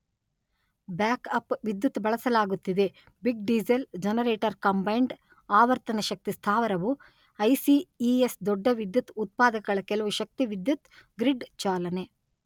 Backup ವಿದ್ಯುತ್ ಬಳಸಲಾಗುತ್ತಿದೆ big diesel generator combined ಆವರ್ತನ ಶಕ್ತಿ ಸ್ಥಾವರವು ಐ_letter-en ಸಿ_letter-en ಇ_letter-en ಎಸ್_letter-en ದೊಡ್ಡ ವಿದ್ಯುತ್ ಉತ್ಪಾದಕಗಳ ಕೆಲವು ಶಕ್ತಿ ವಿದ್ಯುತ್ ಗ್ರಿಡ್ ಚಾಲನೆ.